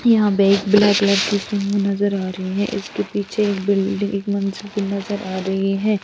यहाँ पे एक ब्लैक कलर की सूमो नज़र आ रही है इसके पीछे एक बिल्डिंग एक मंज़िल की नज़र आ रही है।